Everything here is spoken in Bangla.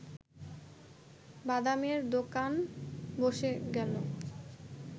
বাদামের দোকান বসে গেল